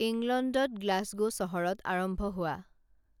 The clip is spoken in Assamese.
ইংলণ্ডত গ্লাছগো চহৰত আৰম্ভ হোৱা